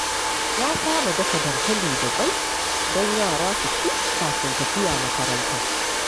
Na saba dafa dankali da ƙwai don yara su ci kafin tafiya makaranta.